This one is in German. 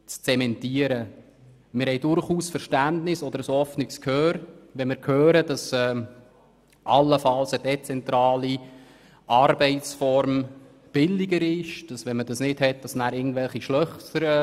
Wir haben durchaus Verständnis, wenn wir hören, dass eine dezentrale Arbeitsform allenfalls billiger sei.